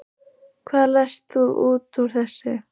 Hvað lest þú út úr þessu?